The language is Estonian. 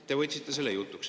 Te võtsite selle jutuks.